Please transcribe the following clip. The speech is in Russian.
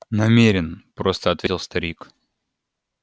намерен просто ответил старик